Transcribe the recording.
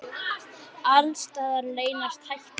Alls staðar leynast hættur.